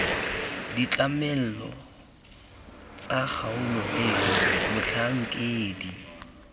ditlamelo tsa kgaolo eno motlhankedi